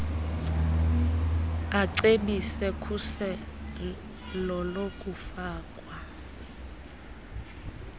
acebise khuselo lokufakwa